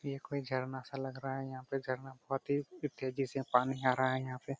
ये कोई झरना सा लग रहा हैयहा पे जरना बहुत ही तेजी से पानी आ रहा हैयहा पे|